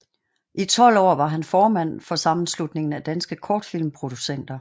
I tolv år var han formand for Sammenslutningen af Danske Kortfilmproducenter